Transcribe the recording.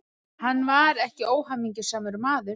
Hann var ekki óhamingjusamur maður.